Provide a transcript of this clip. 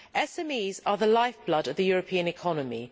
SMEs are the life blood of the European economy.